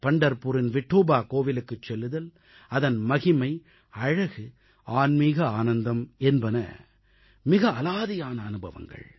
பண்டர்புரின் விட்டோபா கோவிலுக்குச் செல்லுதல் அதன் மகிமை அழகு ஆன்மிக ஆனந்தம் என்பன எல்லாம் மிக அலாதியான அனுபவங்கள்